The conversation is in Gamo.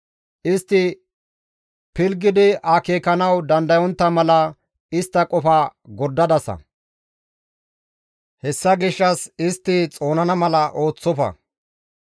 Istti pilggidi akeekanawu dandayontta mala istta qofa gordadasa; hessa gishshas istti xoonana mala ooththofa.